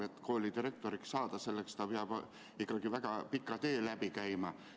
Et koolidirektoriks saada, selleks peab ikkagi väga pika tee läbi käima.